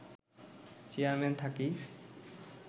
chairman থাকি